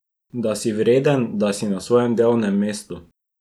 Da si vreden, da si na svojem delovnem mestu.